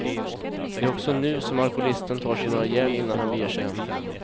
Det är också nu som alkoholisten tar sig några järn innan han beger sig hem.